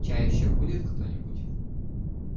чай ещё будет кто-нибудь